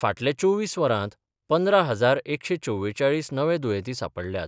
फाटल्या चोवीस वरांत पंदरा हजार एकशे चवेचाळीस नवे दुयेंती सांपडल्यात.